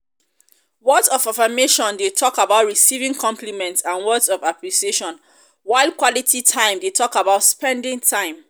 words of affirmation dey talk about receiving compliments and words of appreciation while quality time dey talk about spending time.